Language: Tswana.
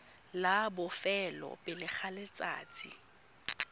la bofelo pele ga letsatsi